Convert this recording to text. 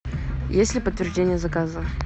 есть ли подтверждение заказа